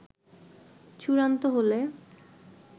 চূড়ান্ত হলে